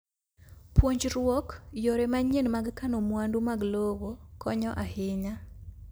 Puonjruok yore manyien mag kano mwandu mag lowo konyo ahinya.